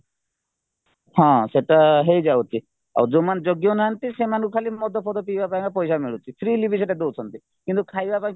ହଁ ସେତ ହେଇଯାଉଛି ଆଉ ଯୋଉମାନେ ଯୋଗ୍ୟ ନାହାନ୍ତି ସେମାନଙ୍କୁ ଖାଲି ମଦ ପିଇବା ପାଇଁ କା ପଇସା ମିଳୁଛି freely ବି ସେଇଟା ଦଉଛନ୍ତି କିନ୍ତୁ ଖାଇବା ପାଇଁ